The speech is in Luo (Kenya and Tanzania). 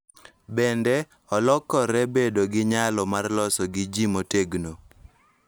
Bende, olokore bedo gi nyalo mar loso gi ji motegno.